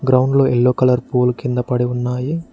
Ground లో yellow colour పూలు కింద పడి ఉన్నాయి.